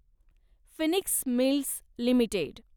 Phoenix Mills limited